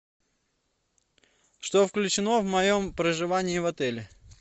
что включено в моем проживании в отеле